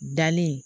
Dalen